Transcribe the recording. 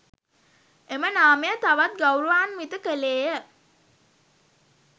එම නාමය තවත් ගෞරවාන්විත කෙළේය